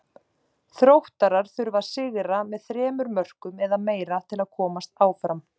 Þróttarar þurfa að sigra með þremur mörkum eða meira til að komast áfram.